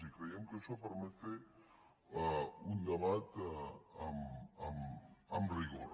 i creiem que això permet fer un debat amb rigor